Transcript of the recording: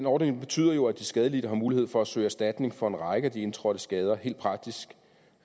ordningen betyder jo at de skadelidte har mulighed for at søge erstatning for en række af de indtrådte skader helt praktisk